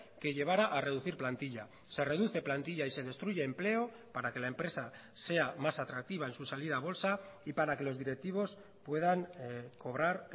que llevara a reducir plantilla se reduce plantilla y se destruye empleo para que la empresa sea más atractiva en su salida a bolsa y para que los directivos puedan cobrar